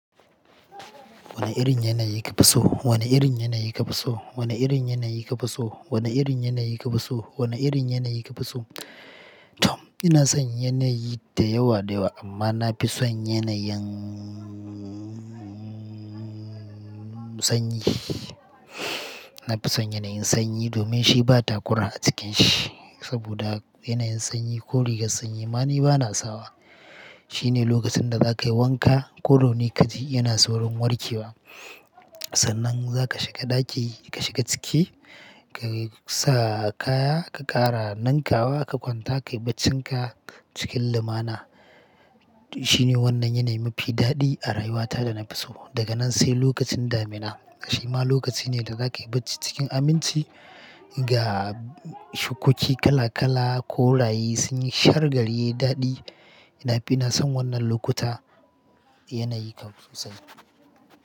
Wane irin yanayi kafi so? Wane irin yanayi kafi so? Wane irin yanayi kafi so? Wane irin yanayi kafi so? Wane irin yanayi kafi so? Tom ina son yanayi da yawa da yawa amma na fi son yanayin sanyi. Na fi son yanayin sanyi domin shi ba takura a cikin shi saboda yanayin sanyi ko rigar sanyi ma ni bana sawa. Shine lokacin da za ka yi wanka ko rauni ka ji yana saurin warke wa. Sannan za ka shiga ɗaki ka shiga ciki ka sa kaya ka ƙara nankawa ka kwanta ka yi bacinka cikin lumana. Shine wannan yanayi mafi daɗi a rayuwata da na fi so. Daga nan sai lokacin damina shi ma lokaci ne da za ka yi bacci cikin aminci ga shukoki kala kala ko raye sun yi shar gariye daɗi. Ina fi na son wannan lokuta yanayi kafin sosai.